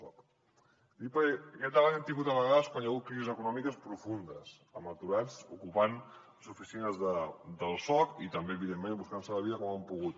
ho dic perquè aquest debat l’hem tingut a vegades quan hi ha hagut crisis econòmiques profundes amb aturats ocupant les oficines del soc i també evidentment buscant se la vida com han pogut